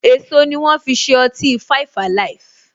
Èso ni wọn fi ṣe ọtí five alive.